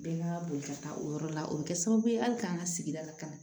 Bɛɛ n'a ka boli ka taa o yɔrɔ la o bɛ kɛ sababu ye hali k'an ka sigida lakana